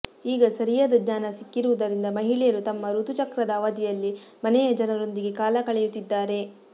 ಈಗ ಸರಿಯಾದ ಜ್ಞಾನ ಸಿಕ್ಕಿರುವುದರಿಂದ ಮಹಿಳೆಯರು ತಮ್ಮ ಋತು ಚಕ್ರದ ಅವಧಿಯಲ್ಲಿ ಮನೆಯ ಜನರೊಂದಿಗೆ ಕಾಲ ಕಳೆಯುತ್ತಿದ್ದಾರೆ